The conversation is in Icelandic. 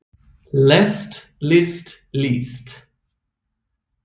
lest list líst